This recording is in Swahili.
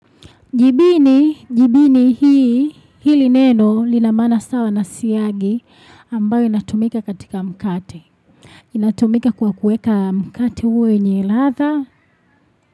Jibini, jibini hii, hili neno lina maana sawa na siyagi ambayo inatumika katika mkate. Inatumika kwa kueka mkate uwe wenye ladha.